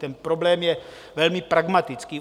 Ten problém je velmi pragmatický.